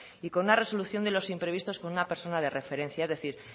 y con una resolución de los imprevistos con una persona de referencia es decir